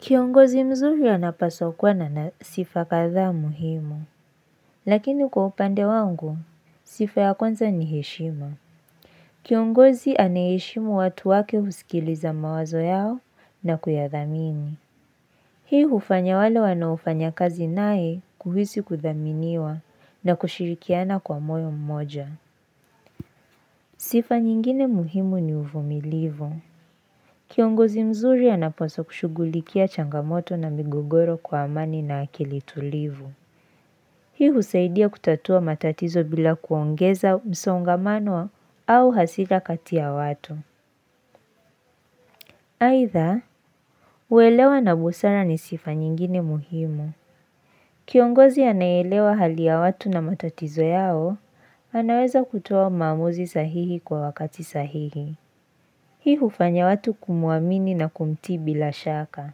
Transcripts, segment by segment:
Kiongozi mzuri anapaswa kuwa na sifa kadha muhimu, lakini kwa upande wangu, sifa ya kwanza ni heshima. Kiongozi ayeheshimu watu wake husikiliza mawazo yao na kuyadhamini. Hii hufanya wale wanaofanya kazi nae kuhisi kuthaminiwa na kushirikiana kwa moyo mmoja. Sifa nyingine muhimu ni uvumilivu. Kiongozi mzuri anaposwa kushugulikia changamoto na migogoro kwa amani na akili tulivu. Hii husaidia kutatua matatizo bila kuongeza msongamano au hasira katia watu. Aitha, uelewa na busara ni sifa nyingine muhimu. Kiongozi anayeelewa hali ya watu na matatizo yao, anaweza kutoa maamuzi sahihi kwa wakati sahihi. Hii hufanya watu kumuamini na kumti bila shaka.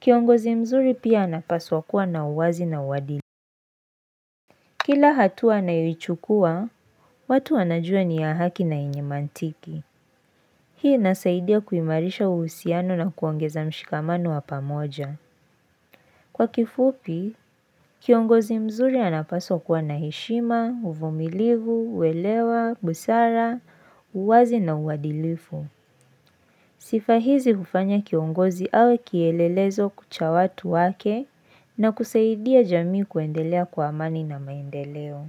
Kiongozi mzuri pia anapaswa kuwa na uwazi na uwadilifu. Kila hatua anayoichukua, watu anajua ni ya haki na inyemantiki. Hii nasaidia kuimarisha uhusiano na kuongeza mshikamano wa pamoja. Kwa kifupi, kiongozi mzuri anapaswa kuwa na heshima, uvumilivu, uelewa, busara, uwazi na uadilifu. Sifa hizi kufanya kiongozi awe kielelezo kucha watu wake na kusaidia jamii kuendelea kwa amani na maendeleo.